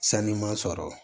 Sanu sɔrɔ